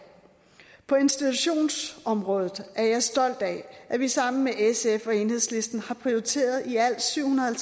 på institutionsområdet er jeg stolt af at vi sammen med sf og enhedslisten har prioriteret i alt syv hundrede